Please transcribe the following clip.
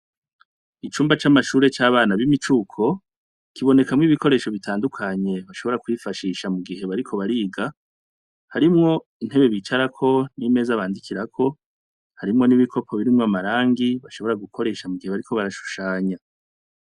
Icumba c'amashure c'abana b'imicuko, kibonekamwo ibikoresho bitandukanye, ushobora kwifashisha mu gihe bariko bariga. Harimwo intebe bicarako n'imeza bandikirako. Harimwo n'ibikopo birimwo amarangi bashobora gukoresha mu gihe bariko barashushanya.